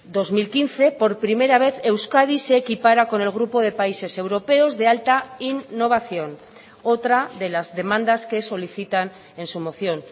dos mil quince por primera vez euskadi se equipara con el grupo de países europeos de alta innovación otra de las demandas que solicitan en su moción